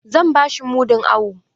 Zan ba shi mudun awo.